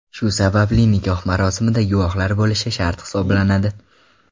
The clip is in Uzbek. Shu sababli nikoh marosimida guvohlar bo‘lishi shart hisoblanadi.